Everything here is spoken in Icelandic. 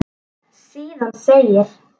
Síðan segir: